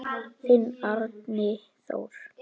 Þinn Árni Þór.